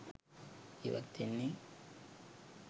ජීවත් වෙන්නේ.